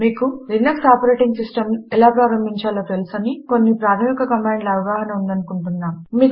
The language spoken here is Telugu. మీకు Linuxలినక్స్ ఆపరేటింగ్ సిస్టంను ఎలా ప్రారంభించాలో తెలుసని మరియు కొన్ని ప్రాధమిక కమాండ్ల గురించిన అవగాహన ఉందని అనుకుంటున్నాము